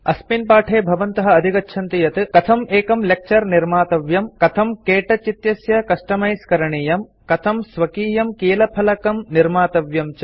अस्मिन् पाठे भवन्तः अधिगच्छन्ति यत् कथम् एकं लेक्चर निर्मातव्यम् कथं के टच इत्यस्य कस्टमाइज करणीयम् कथं स्वकीयं कीलफलकं कीबोर्ड निर्मातव्यं च इति